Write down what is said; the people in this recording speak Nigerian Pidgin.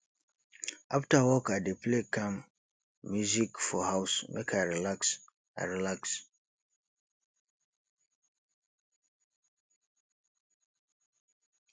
afta work i dey play calm music for house make i relax i relax